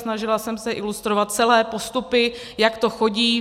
Snažila jsem se ilustrovat celé postupy, jak to chodí.